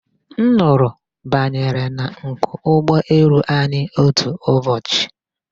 Nnụnụ banyere na nku ụgbọelu anyi otu ụbọchị.